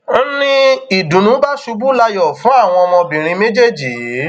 n ní ìdùnnú bá ṣubú layọ fún àwọn ọmọbìnrin méjèèjì yìí